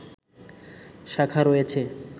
শাখা রয়েছে